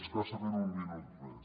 escassament un minut més